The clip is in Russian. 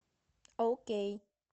оукей